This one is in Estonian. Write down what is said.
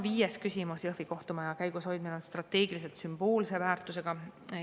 Viies küsimus: "Jõhvi kohtumaja käigus hoidmine on strateegiliselt sümboolse väärtusega.